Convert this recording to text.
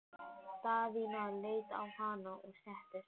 Daðína leit á hana og settist.